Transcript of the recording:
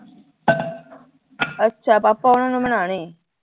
ਅੱਛਾ ਪਾਪਾ ਹੁਰਾਂ ਨੂੰ ਬਣਾਉਣੀ